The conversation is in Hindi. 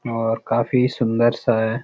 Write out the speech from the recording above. और काफी सुन्दर सा है।